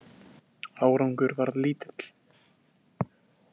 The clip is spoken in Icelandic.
Árangur varð lítill.